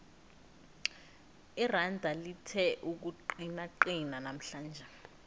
iranda lithe ukuqinaqina namhlanje